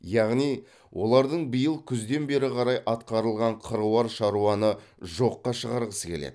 яғни олардың биыл күзден бері қарай атқарылған қыруар шаруаны жоққа шығарғысы келеді